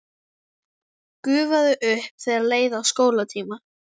Gufaði upp þegar leið að skólatíma.